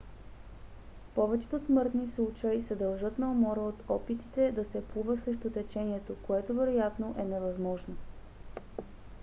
повечето смъртни случаи се дължат на умора от опитите да се плува срещу течението което вероятно е невъзможно